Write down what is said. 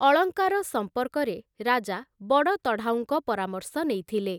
ଅଳଙ୍କାର ସମ୍ପର୍କରେ ରାଜା ବଡ଼ତଢାଉଙ୍କ ପରାମର୍ଶ ନେଇଥିଲେ ।